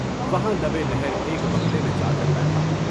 وہاں لبے نہر ایک بنگلے میں جا کر بیٹھا۔